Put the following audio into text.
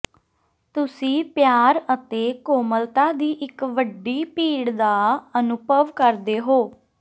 ਤੁਸੀਂ ਪਿਆਰ ਅਤੇ ਕੋਮਲਤਾ ਦੀ ਇੱਕ ਵੱਡੀ ਭੀੜ ਦਾ ਅਨੁਭਵ ਕਰਦੇ ਹੋ